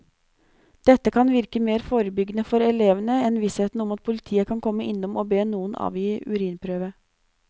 Dette kan virke mer forebyggende for elevene enn vissheten om at politiet kan komme innom og be noen avgi urinprøve.